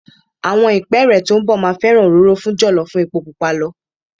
Àwọn ìpẹ́ẹ́rẹ́ tó ń bọ̀ máa fẹ́ràn òróró fún jọ̀lọ́ ju epo pupa lọ.